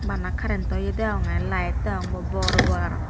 bana karrento ye degonge light degong bo bor bor aro.